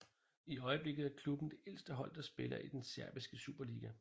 I øjeblikket er klubben det ældste hold der spiller i den serbiske superliga